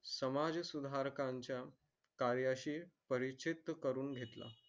समाजसुधारकांच्या कार्याशी परिचित करून घेतला.